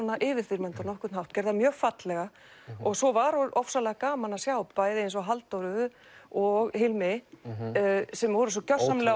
yfirþyrmandi á nokkurn hátt gerði það mjög fallega og svo var ofsalega gaman að sjá bæði eins og Halldóru og Hilmi sem voru svo gjörsamlega